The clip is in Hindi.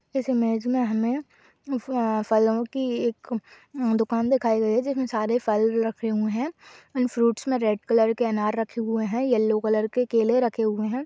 इस इमेज में हमें फ- फलों की एक हम्म दुकान दिखाई दे रही है जिसमे सारे फल रखे हुए हैं। इन फ्रूट्स में रेड कलर के अनार रखे हुए हैं येल्लो कलर के केले रखे हुए हैं।